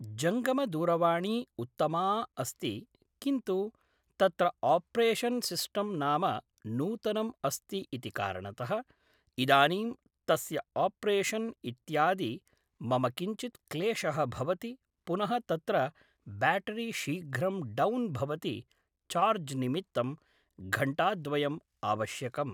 जङ्गमदूरवाणी उत्तमा अस्ति किन्तु तत्र आप्रेशन् सिस्टं नाम नूतनम् अस्ति इति कारणतः इदानीं तस्य आप्रेशन् इत्यादि मम किञ्चिद् क्लेशः भवति पुनः तत्र ब्याटरी शीघ्रं डौन् भवति चार्ज् निमित्तं घण्टाद्वयम् आवश्यकम्